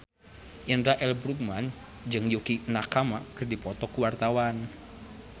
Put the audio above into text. Indra L. Bruggman jeung Yukie Nakama keur dipoto ku wartawan